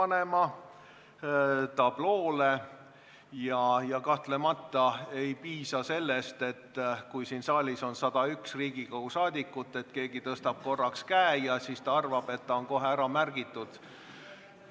Kui siin saalis on 101 Riigikogu liiget, siis kahtlemata ei piisa sellest, et keegi tõstab korraks käe ja arvab, et ta on kohe ära märgitud.